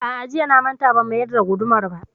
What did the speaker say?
A'a, jiya na manta ban mayar da gudumar ba